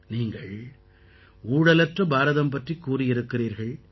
நீங்கள் ஊழலற்ற பாரதம் பற்றிக் கூறியிருக்கிறீர்கள்